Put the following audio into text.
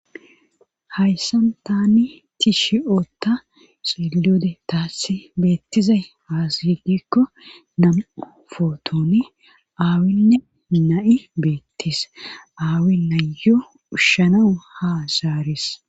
Hayssan tani tishi ootta silode taassi beettizay haazigikko nam7u footooni aawinne na7i beettis aawi nayyo ushshanawu ha zaaris.